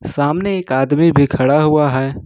सामने एक आदमी भी खड़ा हुआ है।